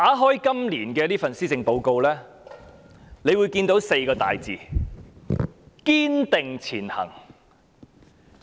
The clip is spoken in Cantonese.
打開今年的施政報告，可以看到"堅定前行"這4個字。